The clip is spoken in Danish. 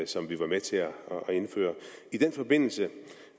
som vi var med til at indføre i den forbindelse